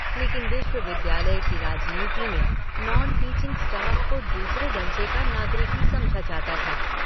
लेकिन विश्वविद्यालय की राजनीति में नॉन-टीचिंग स्टाफ को दूसरे दर्जे का नागरिक ही समझा जाता था।